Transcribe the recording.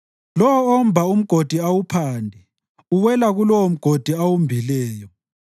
Lowo omba umgodi awuphande uwela kulowomgodi awumbileyo.